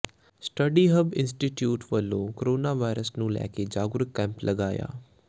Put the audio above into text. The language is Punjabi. ਸਟੱਡੀ ਹੱਬ ਇੰਸਟੀਚਿਊਟ ਵੱਲੋਂ ਕੋਰੋਨਾ ਵਾਇਰਸ ਨੂੰ ਲੈ ਕੇ ਜਾਗਰੂਕ ਕੈਂਪ ਲਗਾਇਆ